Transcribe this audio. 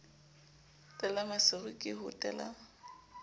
tela maseru ke ho tela